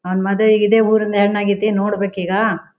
ಅವ್ನ್ ಮದುವೆಗೆ ಇದೆ ಊರಿನ್ ಹೆಣ್ಣಾಗಿತಿ ನೋಡ್ಬೇಕೀಗಾ.